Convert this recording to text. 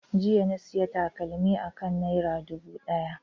Jiya na sayi takalmi akan naira dubu daya.